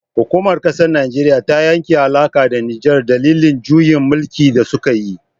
Hukumar kasar najeriya ta yanke alaka da nijar dalilin juyin mulki da sukayi